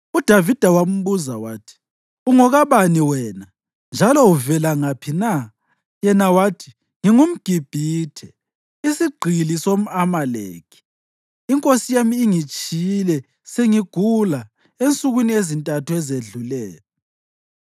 UDavida wambuza wathi, “Ungokabani wena, njalo uvela ngaphi na?” Yena wathi, “NgingumGibhithe, isigqili somʼAmaleki. Inkosi yami ingitshiyile sengigula ensukwini ezintathu ezedluleyo.